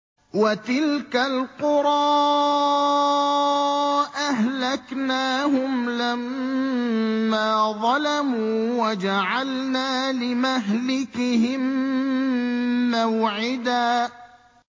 وَتِلْكَ الْقُرَىٰ أَهْلَكْنَاهُمْ لَمَّا ظَلَمُوا وَجَعَلْنَا لِمَهْلِكِهِم مَّوْعِدًا